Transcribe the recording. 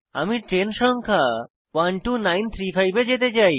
আমি ট্রেন সংখ্যা 12935 এ যেতে চাই